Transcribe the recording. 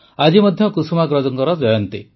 ଆଜି ମଧ୍ୟ କୁସୁମାଗ୍ରଜଙ୍କର ଜୟନ୍ତୀ